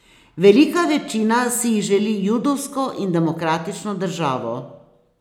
Velika večina si jih želi judovsko in demokratično državo.